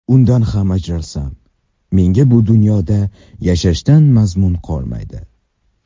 Undan ham ajralsam, menga bu dunyoda yashashdan mazmun qolmaydi”.